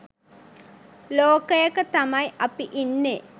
ලෝකයක තමයි අපි ඉන්නේ.